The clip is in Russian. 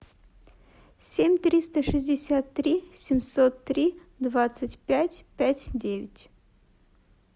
семь триста шестьдесят три семьсот три двадцать пять пять девять